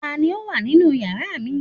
ta ni o wa ninu yara mi